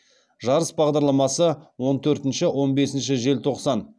жарыс бағдарламасы он төртінші он бесінші желтоқсан